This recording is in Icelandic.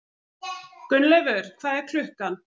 Gunnleifur, hvað er klukkan?